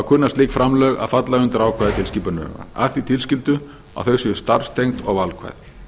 kunna slík framlög að falla undir ákvæði tilskipunarinnar að því tilskildu að þau séu starfstengd og valkvæð